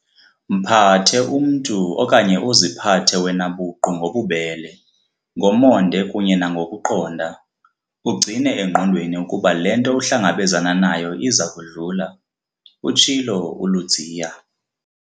"Mphathe umntu okanye uziphathe wena buqu ngobubele, ngomonde kunye nangokuqonda, ugcine engqondweni ukuba le nto uhlangabezana nayo iza kudlula," utshilo uLudziya.